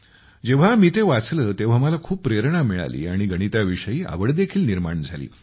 जेव्हा मी ते वाचले तेव्हा मला खूप प्रेरणा मिळाली आणि गणिताविषयी आवड देखील निर्माण झाली